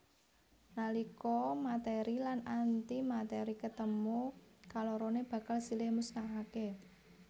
Nalika matèri lan antimatèri ketemu kaloroné bakal silih musnahaké